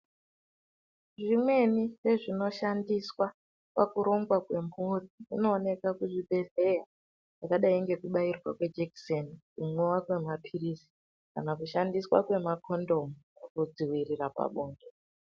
Imweni yezvinoshandiswa pakurumba kwemhuri zvinooneka muzvibhedhleyakwakadai ngekubairwa kwejekiseni inova kwemapilizi kana kushandiswa kwemakondomu Kudziirira pabonde.